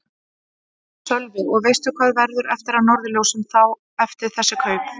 Sölvi: Og veistu hvað verður eftir af Norðurljósum þá eftir þessi kaup?